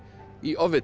í